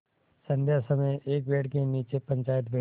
संध्या समय एक पेड़ के नीचे पंचायत बैठी